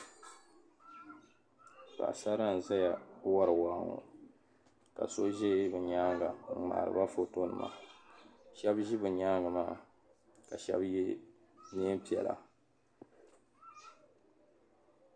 Paɣasara n-ʒeya wari waa ŋɔ ka so ʒe be nyaaŋa n-ŋmaari ba fotonima shɛba ʒi be nyaaŋa maa ka shɛba ye neein'piɛla.